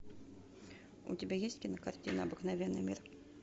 у тебя есть кинокартина обыкновенный мир